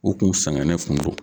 U kun sɛgɛnnen kun do.